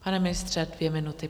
Pane ministře, dvě minuty.